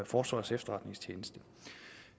forsvarets efterretningstjeneste